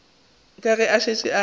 ke ge e šetše e